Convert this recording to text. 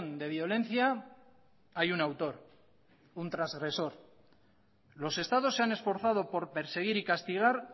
de violencia hay un autor un trasgresor los estados se han esforzado por perseguir y castigar